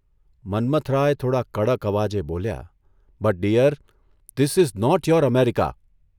'મન્મથરાય થોડા કડક અવાજે બોલ્યાઃ ' but dear, this is not your America.